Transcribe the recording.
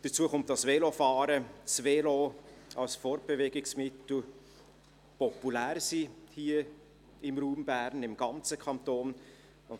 Hinzu kommt, dass Velofahren, das Velo als Fortbewegungsmittel hier im Raum Bern und im ganzen Kanton populär ist.